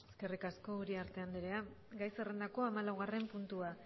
eskerrik asko uriarte anderea gai zerrendako hamalaugarren puntua